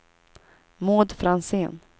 Maud Franzén